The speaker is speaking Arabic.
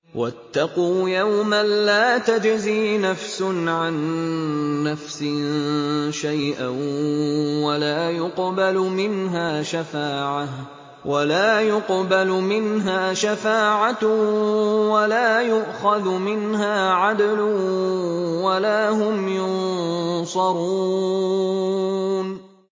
وَاتَّقُوا يَوْمًا لَّا تَجْزِي نَفْسٌ عَن نَّفْسٍ شَيْئًا وَلَا يُقْبَلُ مِنْهَا شَفَاعَةٌ وَلَا يُؤْخَذُ مِنْهَا عَدْلٌ وَلَا هُمْ يُنصَرُونَ